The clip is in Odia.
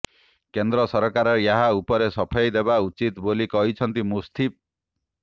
କେନ୍ଦ୍ର ସରକାର ଏହା ଉପରେ ସଫେଇ ଦେବା ଉଚିତ୍ ବୋଲି କହିଛନ୍ତି ମୁଫ୍ତି